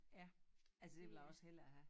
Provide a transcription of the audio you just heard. Ja altså det vil jeg også hellere have